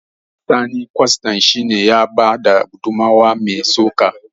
Sani kwastan shi ne ya bada gudummawa mai tsoka